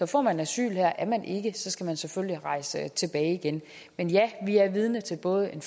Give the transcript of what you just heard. får man asyl her er man ikke skal man selvfølgelig rejse tilbage igen men ja vi er vidne til både en